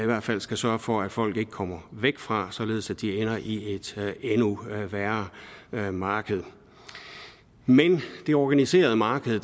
hvert fald skal sørge for at folk ikke kommer væk fra således at de ender i et endnu værre værre marked det organiserede marked